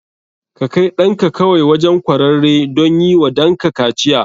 Ka kai ɗanka kawai wajen kwararre don yi wa danka kaciya.